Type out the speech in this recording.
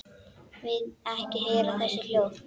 Vil ekki heyra þessi hljóð.